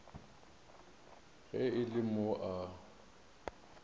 ge e le mo a